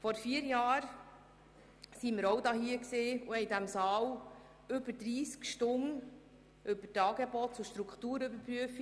Vor vier Jahren diskutieren wir in diesem Saal über 30 Stunden lang die ASP 2014.